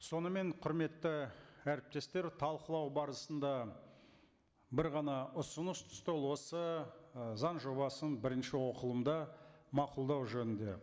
сонымен құрметті әріптестер талқылау барысында бір ғана ұсыныс түсті ол осы ы заң жобасын бірінші оқылымда мақұлдау жөнінде